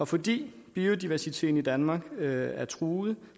fordi biodiversiteten i danmark er truet